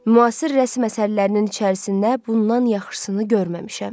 Müasir rəsm əsərlərinin içində bundan yaxşısını görməmişəm.